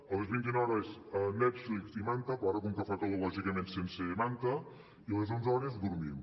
a les dos mil cent hores netflix i manta però ara com que fa calor lògicament sense manta i a les onze hores dormim